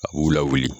A b'u lawuli